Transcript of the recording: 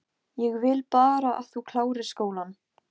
Ég vil bara að þú klárir skólann